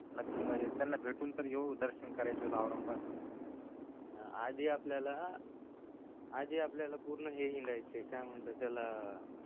नक्की म्हणजे त्यांना भेटून तरी येऊ दर्शन करायचे आत औरंगाबाद आधी आपल्याला पूर्ण हे हिंडायचय काय म्हणतात त्याला अअ